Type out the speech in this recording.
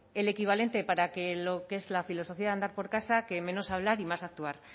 el equivalente para lo que es la filosofía de andar por casa que menos hablar y más actuar